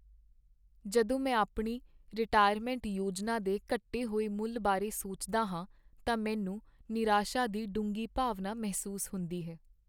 ਜਦੋਂ ਮੈਂ ਆਪਣੀ ਰਿਟਾਇਰਮੈਂਟ ਯੋਜਨਾ ਦੇ ਘਟੇ ਹੋਏ ਮੁੱਲ ਬਾਰੇ ਸੋਚਦਾ ਹਾਂ ਤਾਂ ਮੈਨੂੰ ਨਿਰਾਸ਼ਾ ਦੀ ਡੂੰਘੀ ਭਾਵਨਾ ਮਹਿਸੂਸ ਹੁੰਦੀ ਹੈ।